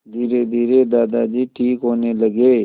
धीरेधीरे दादाजी ठीक होने लगे